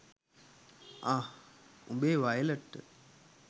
අහ් උඹේ වයලට්ට